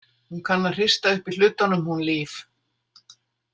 Hún kann að hrista upp í hlutunum, hún Líf.